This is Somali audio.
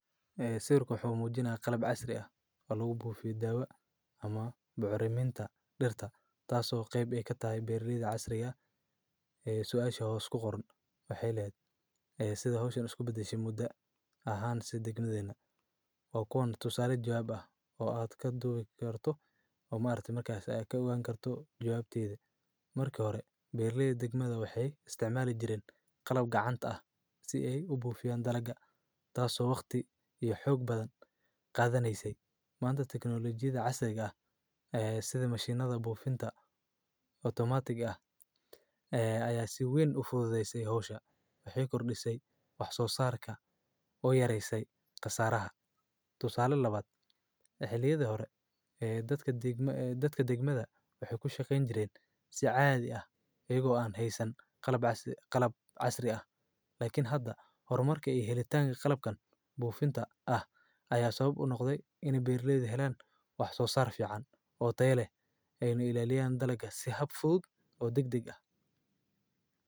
Ee sayrku xumuudina qalab casri ah oo lagu buufi daawa ama bucuriminta dhirta taasoo qayb ay ka tahi biirliyada casri ah ee su'aasha hoos ku qoran wax eelayd ah ee sida hooshin isku bixish muddo ahaan si degmadayna. Wuxuu kooxdu tusale joob ah oo aad ka duulo kartu ama aragti markaas ay ka gaan kartaa jawaabtaydi. Marka hore biirliyada degmada waxay isticmaalitay jireen qalab gacanta ah si ay u buufiyaan daraga taaso waqti iyo xoog badan qaadanyisay maanta taknolojiyadda casayga ah ee sida mashiinada buufinta otomaatig ah ee ay si wayn u fududeysay hawsha wixii kor dhisay wax soo saarka oo yareysay khasaaraha. Tusale labaad. Xilliyeeda hore ee dadka degmada dadka degmada waxay ku shaqayn jireen si caadi ah iyagoo aan heysan qalab casri ah. Qalab casri ah laakiin hadda horumarka helaytaanka qalabkan buufinta ah ayaa sabab u noqday inay biirliyada helaan wax soo sarfican oo tae leh ay inuu ilaaliyaan dalaga si hab fudud oo degdeg ah.